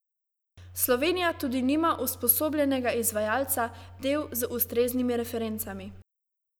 Slovenija tudi nima usposobljenega izvajalca del z ustreznimi referencami.